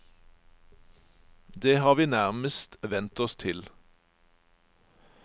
Det har vi nærmest vendt oss til.